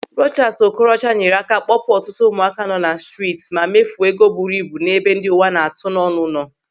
Rochas Okorocha nyere aka kpọpụ ọtụtụ ụmụaka nọ na steeti ma mefuo ego buru na ebe ndị uwa na-atụ n'ọnụ.